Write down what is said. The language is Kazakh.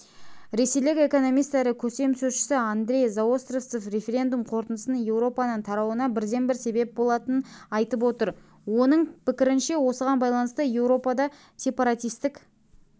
ресейлік экономист әрі көсемсөзші андрей заостровцев референдум қорытындысының еуропаның тарауына бірден-бір себеп болатынын айтып отыр оның пікірінше осыған байланысты еуропада сепаратистік